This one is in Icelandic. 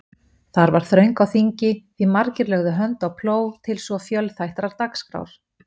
Þar var þröng á þingi, því margir lögðu hönd á plóg til svo fjölþættrar dagskrár.